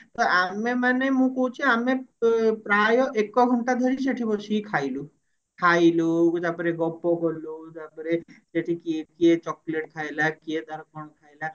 ତ ଆମେ ମାନେ ମୁଁ କହୁଛି ଆମେ ପ୍ରାଏ ଏକ ଘଣ୍ଟା ଧରି ସେଠି ବସିକି ଖାଇଲୁ ଖାଇଲୁ ତାପରେ ଗପ କଲୁ ତାପରେ ସେଠି କିଏ କିଏ chocolate ଖାଇଲା କିଏ କଣ ଖାଇଲା